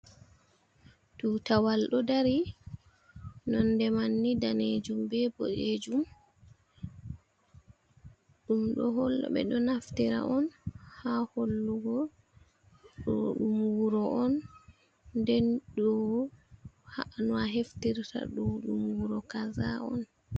Tutawal ɗo dari nonde man ni danejum be boɗejum ɗum ɗo hol ɓeɗo naftira on ha hollugo ɗo ɗum wuro on den do no a heftirta ɗo ɗum wuro kaza on.